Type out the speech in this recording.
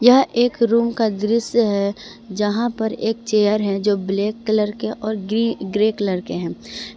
यह एक रूम का दृश्य है यहां पर एक चेयर है जो ब्लैक कलर के और गरी ग्रे कलर के हैं।